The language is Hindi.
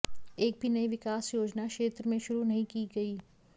एक भी नई विकास योजना क्षेत्र में शुरू नही की गई